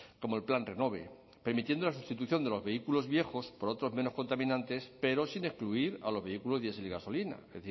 como el plan renove permitiendo la sustitución de los vehículos viejos por otros menos contaminantes pero sin excluir a los vehículos diesel y gasolina es